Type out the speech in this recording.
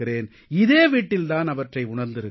இதே வீட்டில் தான் அவற்றை உணர்ந்திருக்கிறேன்